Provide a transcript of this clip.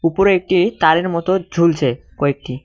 উপরে একটি তারের মতো ঝুলছে কয়েকটি।